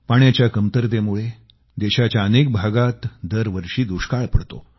पाण्याच्या कमतरतेमुळे देशाच्या अनेक भागामध्ये दरवर्षी दुष्काळ पडतो